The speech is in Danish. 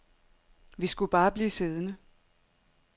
Vi skulle bare blive siddende.